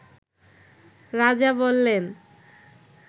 রাজা বললেন